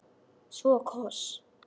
Svo koss.